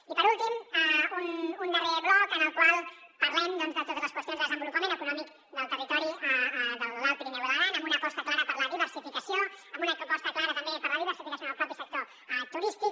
i per últim un darrer bloc en el qual parlem de totes les qüestions de desenvolupament econòmic del territori de l’alt pirineu i l’aran amb una aposta clara per la diversificació amb una aposta clara també per la diversificació en el propi sector turístic